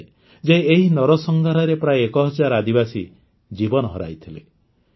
କୁହାଯାଏ ଯେ ଏହି ନରସଂହାରରେ ପ୍ରାୟ ୧ ହଜାର ଆଦିବାସୀ ଜୀବନ ହରାଇଥିଲେ